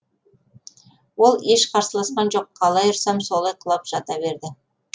ол еш қарсыласқан жоқ қалай ұрсам солай құлап жата берді